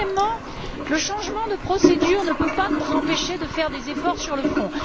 Deuxièmement, le changement de procédure ne peut pas nous empêcher de faire des efforts sur le fond.